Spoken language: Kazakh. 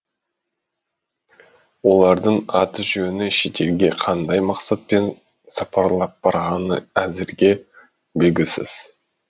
олардың аты жөні шетелге қандай мақсатпен сапарлап барғаны әзірге белгісіз